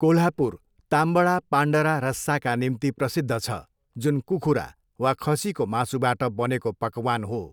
कोल्हापुर ताम्बडा पान्डरा रस्साका निम्ति प्रसिद्ध छ, जुन कुखुरा वा खसीको मासुबाट बनेको पकवान हो।